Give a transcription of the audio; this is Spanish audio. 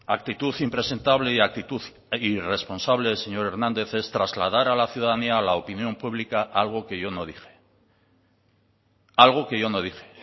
actitud impresentable y actitud irresponsable señor hernández es trasladar a la ciudadanía a la opinión público algo que yo no dije